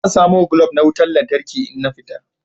Zan samo glob na wutan lantarki in na fita.